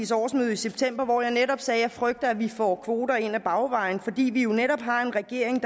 i september hvor jeg netop sagde at jeg frygter at vi får kvoter ind ad bagvejen fordi vi jo netop har en regering